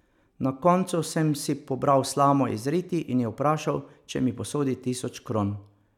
Na koncu sem si pobral slamo iz riti in jo vprašal, če mi posodi tisoč kron.